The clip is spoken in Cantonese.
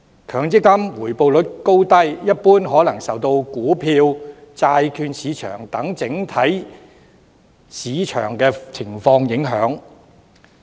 強積金回報率高低，一般可能受到股票、債券市場等整體市況影響。